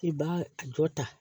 I b'a a jɔ ta